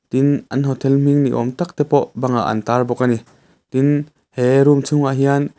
tin an hotel hming niawm tak te pawh bangah an tar bawk a ni tin he room chhungah hian--